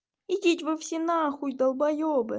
идите вы все нахуй долбоёбы